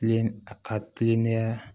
Tile a ka kilennenya